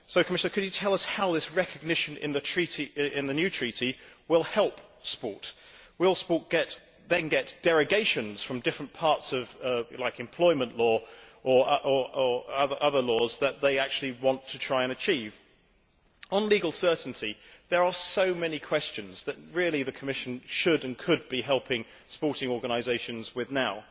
So, Commissioner, could you tell us how this recognition in the new Treaty will help sport? Will sport then get derogations from different aspects, like employment law or other laws, that they actually want to try and achieve? On legal certainty, there are so many questions that the Commission should and could be helping sporting organisations with now.